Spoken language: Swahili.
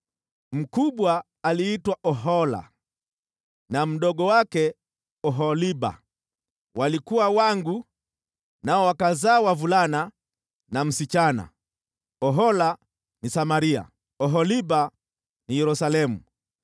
Mkubwa aliitwa Ohola na mdogo wake Oholiba. Walikuwa wangu nao wakazaa wavulana na msichana. Ohola ni Samaria, Oholiba ni Yerusalemu.